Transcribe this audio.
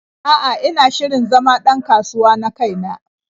A'a, ina shirin zama ɗ an kasuwa na kai na.